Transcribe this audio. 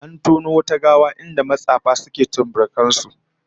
An tono wata gawa a inda matsafa suke tsumburukan su